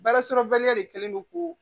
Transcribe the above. Baara sɔrɔbaliya de kɛlen do k'o